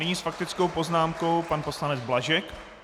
Nyní s faktickou poznámkou pan poslanec Blažek.